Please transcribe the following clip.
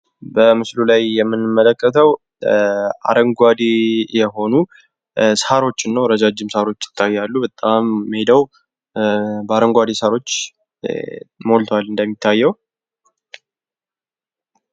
በምስሉ ላይ የምንመለከተው አረንጓዴ የሆኑ ሳሮች ነው ። ረጃጅም ሳሮች ይታያሉ ። በጣም ሜዳው በአረንጓዴ ሳሮች ሞልቷል እንደሚታየው ።